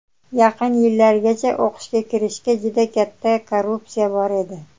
yaqin yillargacha o‘qishga kirishda juda katta korrupsiya bor edi.